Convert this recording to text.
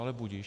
Ale budiž.